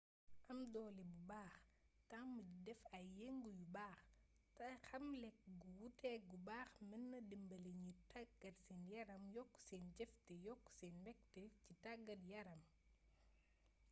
am doolé bu baax tamm di déf ay yeengu yu baax té xam lékk gu wuté gu baax meenna dimbali gniy taggat sén yaram yokk sén jeef té yokk sén mbékté ci taggat yaram